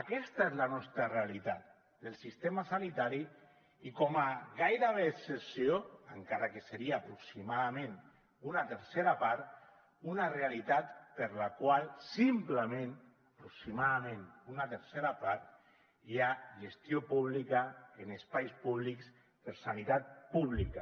aquesta és la nostra realitat del sistema sanitari i com a gairebé excepció encara que seria aproximadament una tercera part una realitat per la qual simplement aproximadament una tercera part hi ha gestió pública en espais públics per sanitat pública